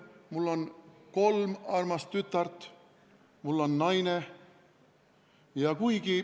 Mul on kolm armast tütart, mul on naine.